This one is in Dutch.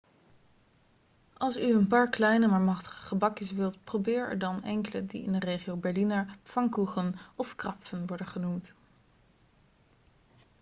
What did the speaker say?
als u een paar kleine maar machtige gebakjes wilt probeer er dan enkele die in de regio berliner pfannkuchen of krapfen worden genoemd